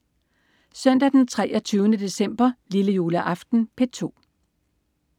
Søndag den 23. december. Lillejuleaften - P2: